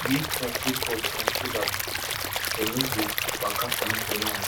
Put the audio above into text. build fence wey tall small so dem no go waka comot anyhow